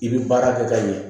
I bɛ baara kɛ ka ɲɛ